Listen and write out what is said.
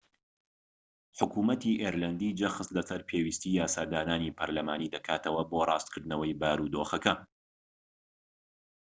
حکومەتی ئیرلەندی جەخت لەسەر پێویستیی یاسادانانی پەرلەمانی دەکاتەوە بۆ ڕاستکردنەوەی بارودۆخەکە